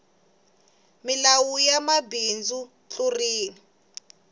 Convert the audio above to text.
milawu ya mabindzu ayi tluriwi